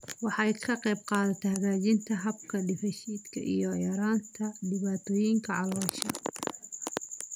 Waxay ka qaybqaadataa hagaajinta habka dheef-shiidka iyo yaraynta dhibaatooyinka caloosha.